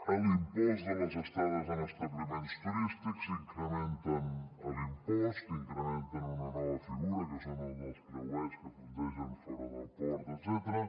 en l’impost de les estades en establiments turístics incrementen l’impost incrementen una nova figura que són la dels creuers que fondegen fora del port etcètera